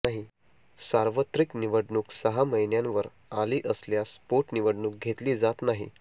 सार्वत्रिक निवडणूक सहा महिन्यांवर आली असल्यास पोटनिवडणूक घेतली जात नाही